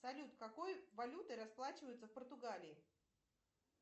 салют какой валютой расплачиваются в португалии